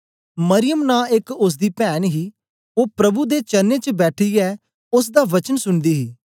मरियम नां एक ओसदी पैन ही ओ प्रभु दे चरणें च बैठीयै ओसदा वचन सुनदी ही